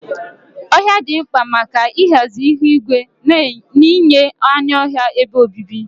Ohia dị mkpa maka ịhazi ihu igwe na inye anụ ọhịa ebe obibi.